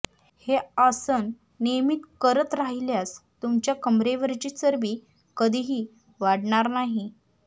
हे आसन नियमित करत राहिल्यास तुमच्या कंबरेवरची चरबी कधीही वाढणार नाही